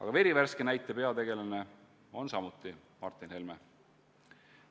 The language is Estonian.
Ka ühe verivärske näite peategelane on Martin Helme.